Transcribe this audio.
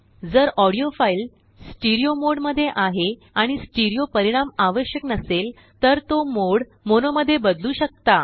जर audio file stereo मोडमध्ये आहे आणिस्टीरिओ परिणाम आवश्यक नसेल तर तो मोड मोनो मध्ये बदलू शकता